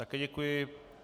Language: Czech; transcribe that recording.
Také děkuji.